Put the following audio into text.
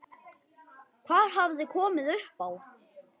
Hvað hafði komið upp á?